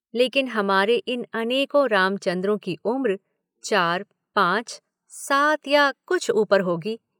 लेकिन हमारे इन अनेकों रामचन्द्रों की उम्र चार, पांच, सात या कुछ ऊपर होगी।